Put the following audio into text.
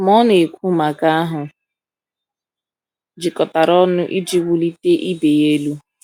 Ma ọ na-ekwu maka ahụ jikọtara ọnụ iji wulite ibe ya elu.